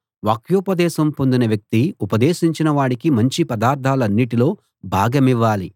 వాక్యోపదేశం పొందిన వ్యక్తి ఉపదేశించిన వాడికి మంచి పదార్ధాలన్నిటిలో భాగమివ్వాలి